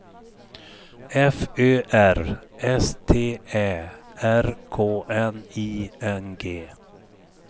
F Ö R S T Ä R K N I N G